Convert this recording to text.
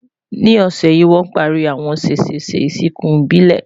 ní ọsẹ yi, wọn o pari àwọn sesese ìsìnkú ìbílè